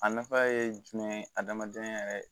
A nafa ye jumɛn ye adamadenya yɛrɛ